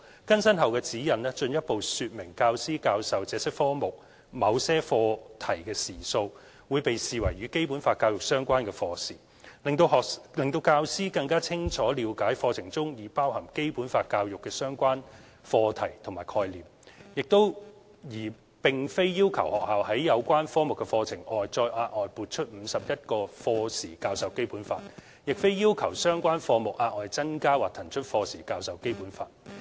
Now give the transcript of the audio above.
更新後的《指引》進一步說明教師教授這些科目某些課題的時數，會被視為與《基本法》教育相關的課時，讓教師更清楚了解課程中已包含《基本法》教育的相關課題/概念，而並非要求學校在有關科目的課程外再額外撥出51課時教授《基本法》，亦非要求相關科目額外增加或騰出課時教授《基本法》。